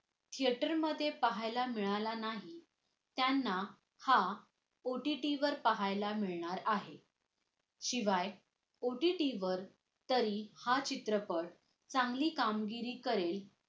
theater मध्ये पाहायला मिळाला नाही त्यांना हा OTT वर पाहायला मिळणार आहे शिवाय OTT तरी हा चित्रपट चांगली कामगिरी करेल